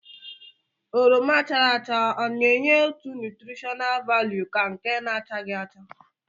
oroma chara acha o na-enye otu nútrishóná válú ka nke na-achaghi acha